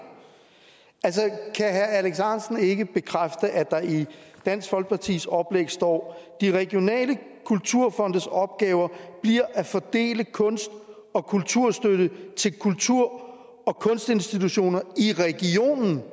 kan herre alex ahrendtsen ikke bekræfte at der i dansk folkepartis oplæg står de regionale kulturfondes opgaver bliver at fordele kunst og kulturstøtte til kultur og kunstinstitutioner i regionen det